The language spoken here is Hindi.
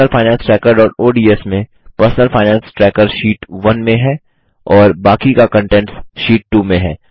personal finance trackerओडीएस में पर्सनल फाइनेंस ट्रैकर शीट 1 में है और बाकी का कंटेंट्स शीट 2 में है